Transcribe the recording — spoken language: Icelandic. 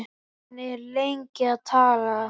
Hann er lengi að tala.